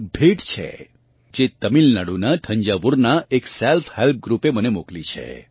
એક ભેટ છે જે તમિલનાડુનાં થંજાવુરનાં એક સેલ્ફ હેલ્પ ગ્રૃપે મને મોકલી છે